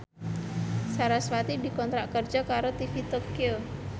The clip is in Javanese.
sarasvati dikontrak kerja karo TV Tokyo